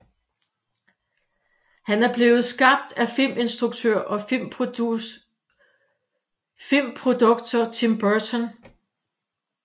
Han er blevet skabt af filminstruktør og filmprodukter Tim Burton